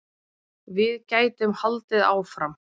Við gætum haldið áfram.